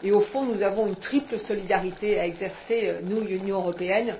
cela. Au fond, nous avons une triple solidarité à exercer, nous, Union européenne.